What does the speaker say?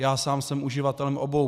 Já sám jsem uživatelem obou.